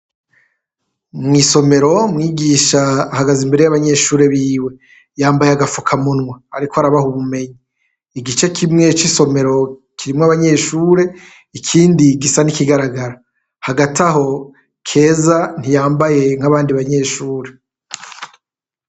Mw'isomero umwigisha ahagaze imbere y'abanyeshure biwe yanbaye agapfukamunwa ariko arabaha ubumenyi. Igice kimwe c'isomero kirimwo abanyeshure ikindi gisa n'ikigaragara ,hagati aho, keza ntiyambaye nk'abandi banyeshure.